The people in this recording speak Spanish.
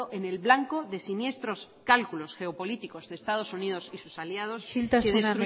en el blanco de siniestros cálculos geopolíticos de estados unidos y de sus aliados isiltasuna